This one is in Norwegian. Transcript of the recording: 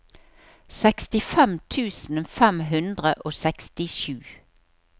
sekstifem tusen fem hundre og sekstisju